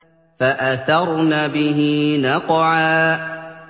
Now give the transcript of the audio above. فَأَثَرْنَ بِهِ نَقْعًا